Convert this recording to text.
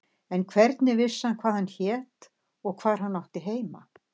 En hvernig vissi hann hvað hann hét og hvar hann átti heima?